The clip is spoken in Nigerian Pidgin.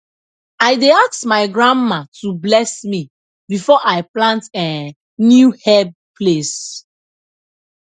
i dey ask my grandma to bless me before i plant um new herb place